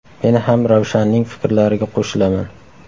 Men ham Ravshanning fikrlariga qo‘shilaman.